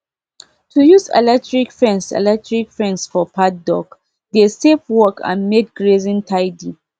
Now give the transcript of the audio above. to use electric fence electric fence for paddock dey save work and make grazing tidy